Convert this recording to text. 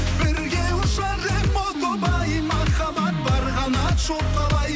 бірге ұшар ем о тоба ай махаббат бар қанат жоқ қалай